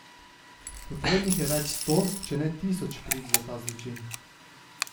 Potrebnih je več sto, če ne tisoč prič za ta zločin.